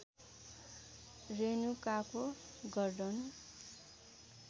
रेणुकाको गर्धन